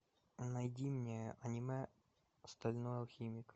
найди мне аниме стальной алхимик